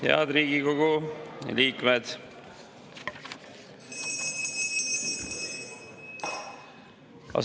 Head Riigikogu liikmed!